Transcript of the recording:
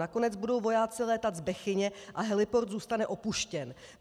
Nakonec budou vojáci létat z Bechyně a heliport zůstane opuštěn.